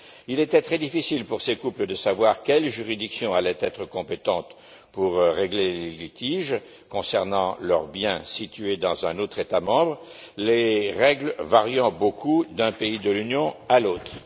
Il était très difficile pour ces couples de savoir quelle juridiction allait être compétente pour régler les litiges concernant leurs biens situés dans un autre État membre, les règles variant beaucoup d'un pays de l'Union à l'autre.